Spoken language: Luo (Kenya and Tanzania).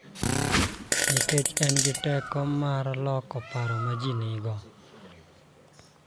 Nikech en gi teko mar loko paro ma ji nigo .